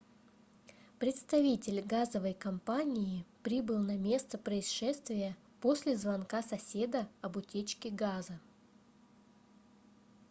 представитель газовой компании прибыл на место происшествия после звонка соседа об утечке газа